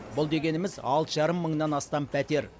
бұл дегеніміз алты жарым мыңнан астам пәтер